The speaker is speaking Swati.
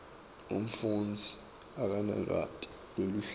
umfundzi akanalwati lweluhlobo